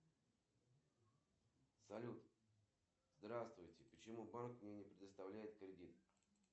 сбер какие яблоки не дают потребителю никакой полезности и никакого удовлетворения от их потребления